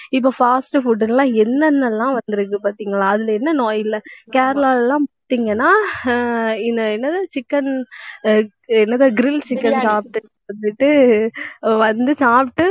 இப்ப fast food ல்லாம் என்னென்னல்லாம் வந்திருக்கு பார்த்தீங்களா அதில என்ன நோய் இல்லை கேரளால எல்லாம் பார்த்தீங்கன்னா ஆஹ் இந்த என்னது chicken என்னது grill chicken சாப்பிட்டு வந்துட்டு வந்து சாப்பிட்டு